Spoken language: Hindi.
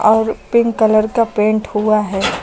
और पिंक कलर का पेंट हुआ है।